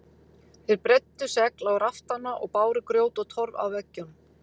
Þeir breiddu segl á raftana og báru grjót og torf að veggjum.